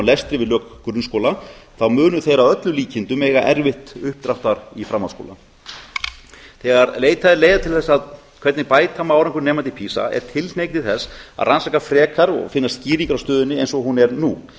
lestri við lok grunnskóla munu þeir að öllum líkindum eiga erfitt uppdráttar í framhaldsskóla þegar leitað er leiða til þess hvernig bæta má árangur nemenda í pisa er tilhneiging til þess að rannsaka frekar og finna skýringar á stöðunni eins og hún er nú